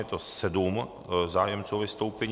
Je tady sedm zájemců o vystoupení.